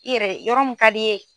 I yɛrɛ yɔrɔ min ka d'i ye.